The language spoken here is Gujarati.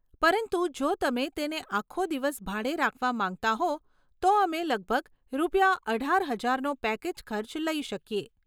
પરંતુ જો તમે તેને આખો દિવસ ભાડે રાખવા માંગતા હો તો અમે લગભગ રૂપિયા અઢાર હજારનો પેકેજ ખર્ચ લઈ શકીએ.